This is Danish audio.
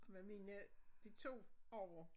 Med mine de 2 ovre